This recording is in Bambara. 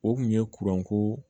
O kun ye kuranko